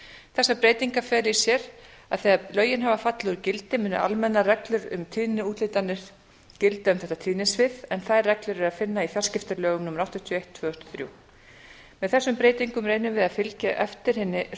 þessar breytingar fela í sér að þegar lögin hafa fallið úr gildi munu almennar reglur um tíðniúthlutanir gilda um þetta tíðnisvið en þær reglur er að finna í fjarskiptalögum númer áttatíu og eitt tvö þúsund og þrjú með þessum breytingum er unnið við að fylgja eftir hinni sömu